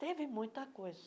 Teve muita coisa.